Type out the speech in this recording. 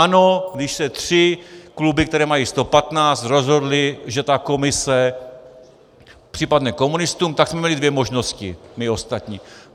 Ano, když se tři kluby, které mají 115, rozhodly, že ta komise připadne komunistům, tak jsme měli dvě možnosti my ostatní.